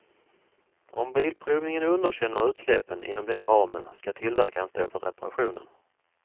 Om bilprovningen underkänner utsläppen inom den ramen ska tillverkaren stå för reparationen.